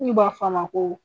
Munun b'a fɔ a ma ko